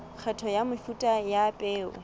kgetho ya mefuta ya peo